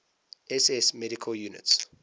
ss medical units